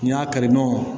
N'i y'a kari dɔn